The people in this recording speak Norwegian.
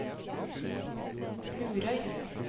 Lurøy